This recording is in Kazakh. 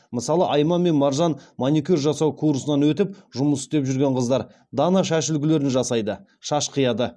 мысалы айман мен маржан маникюр жасау курсынан өтіп жұмыс істеп жүрген қыздар дана шаш үлгілерін жасайды шаш қияды